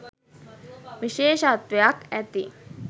විශේෂත්වයක් ඇති.